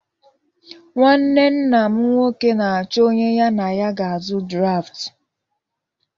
Nnwanne nna m nnwoke na-achọ onye ya na ya ga-azụ draftụ